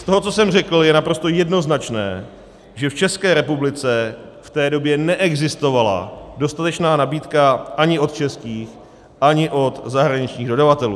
Z toho, co jsem řekl, je naprosto jednoznačné, že v České republice v té době neexistovala dostatečná nabídka ani od českých, ani od zahraničních dodavatelů.